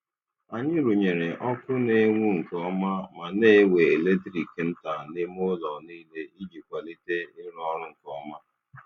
Anyị rụnyere ọkụ na-enwu nke ọma ma na-ewe eletrik nta n'ime ụlọ niile iji kwalite ịrụ ọrụ nke ọma.